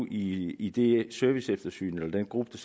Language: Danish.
i i det serviceeftersyn af den gruppe